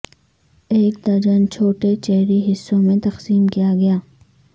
ایک درجن چھوٹے چیری حصوں میں تقسیم کیا گیا